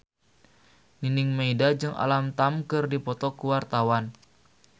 Nining Meida jeung Alam Tam keur dipoto ku wartawan